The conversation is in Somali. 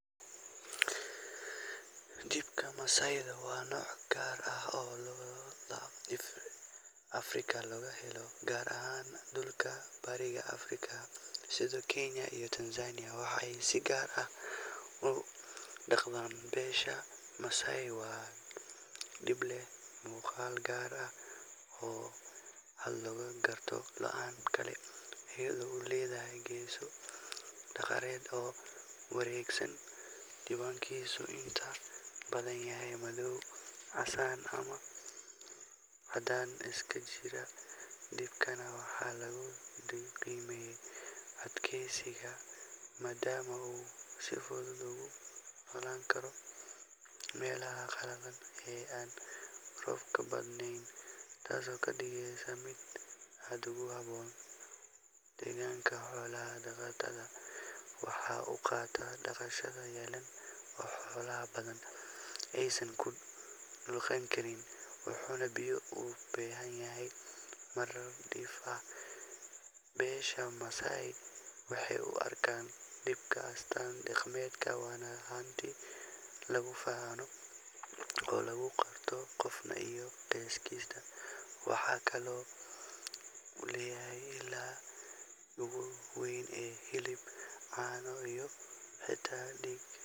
Dibka Masai waa nooc gaar ah oo lo’da Afrika laga helo, gaar ahaan dhulka bariga Afrika sida Kenya iyo Tanzania, waxaana si gaar ah u dhaqda beesha Masai. Waa dib leh muuqaal gaar ah oo aad looga garto lo’da kale, iyadoo uu leeyahay geeso dhaadheer oo wareegsan, midabkiisuna inta badan yahay madow, casaan ama caddaan isku jira. Dibkan waxaa lagu qiimeeyaa adkeysigiisa, maadaama uu si fudud ugu noolaan karo meelaha qalalan ee aan roobka badnayn, taasoo ka dhigaysa mid aad ugu habboon deegaanka xoolo-dhaqatada. Waxa uu quutaa daaqa qallalan oo xoolo badan aysan u dulqaadan karin, wuxuuna biyo u baahan yahay marar dhif ah. Beesha Masai waxay u arkaan dibkan astaan dhaqameed, waana hanti lagu faano oo lagu garto qofka iyo qoyskiisa. Waxa kale oo uu yahay isha ugu weyn ee hilib, caano, iyo xitaa dhiig.